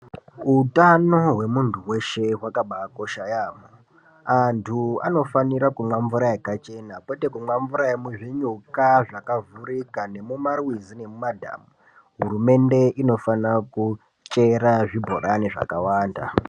Utano hwemuntu weshe hwakabaakosha yaamho antu anofanira kumwe mvura yakachena kwete kumwa mvura yemuzvinyuka zvakavhurika nemumarwizi nemumadhamu hurumende inofana kuchera zvibhorani zvakawanda.